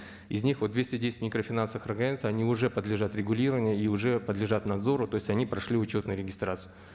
из них вот двести десять микрофинансовых организаций они уже подлежат регулированию и уже подлежат надзору то есть они прошли учетную регистрацию